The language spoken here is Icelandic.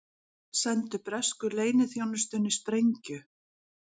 Sendu bresku leyniþjónustunni sprengju